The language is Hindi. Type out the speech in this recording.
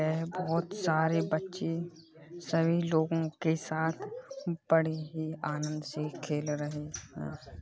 यह बहुत सारे बच्चे सभी लोगों के साथ बड़े ही आनंद से खेल रहे हैं।